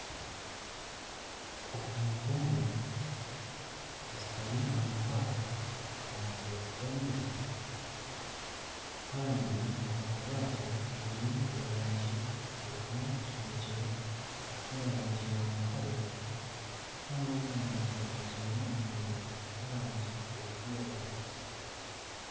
Omuntu omwe ashutami omu bwaato aha mutwe gw'amaizi kandi obu bwaato bwine erangi erimu kinekye n'erangi ya mutare kandi ogu omuntu ajwaire omwenda gw'erangi erikwiragura.